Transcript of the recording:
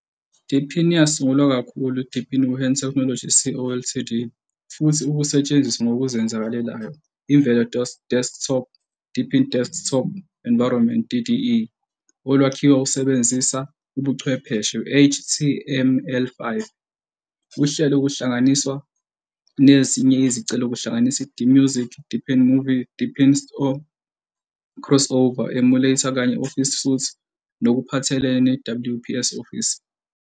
deepin yasungulwa kakhulu Deepin Wuhan Technology Co., Ltd. futhi ukusetshenziswa, ngokuzenzakalelayo, imvelo desktop Deepin Desktop Environment, DDE, olwakhiwa usebenzisa ubuchwepheshe HTML5, uhlelo kuhlanganisa nezinye izicelo kuhlanganise DMusic, Deepin Movie, Deepin Store, CrossOver emulator kanye office suite nokuphathelene WPS Office.